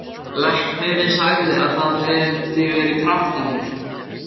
Læknirinn sagði að það hefði verið kraftaverk.